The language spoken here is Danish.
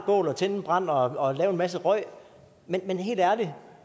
og tænde en brand og lave en masse røg men helt ærligt